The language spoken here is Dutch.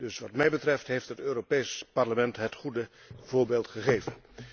Dus wat mij betreft heeft het Europees Parlement het goede voorbeeld gegeven.